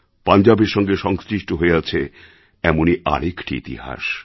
পাঞ্জাবের সঙ্গে সংশ্লিষ্ট হয়ে আছে এমনই আর একটি ইতিহাস